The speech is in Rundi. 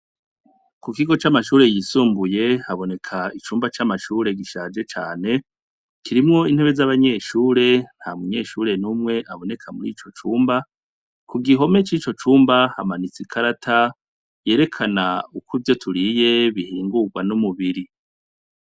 Ku kigo c'amashure yisumbuye haboneka icumba c'amashure gishaje cane kirimwo intebe z'abanyeshure, nta munyeshure n'umwe aboneka muri ico cumba. Ku gihome c'ico cumba hamanitse ikarata yerekana uko ivyo turiye bihingurwa n'umubiri